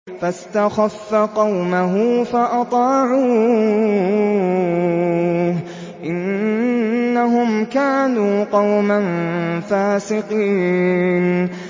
فَاسْتَخَفَّ قَوْمَهُ فَأَطَاعُوهُ ۚ إِنَّهُمْ كَانُوا قَوْمًا فَاسِقِينَ